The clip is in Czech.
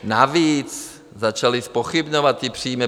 Navíc začali zpochybňovat ty příjmy.